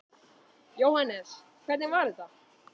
Jóhannes: Hvernig var þetta?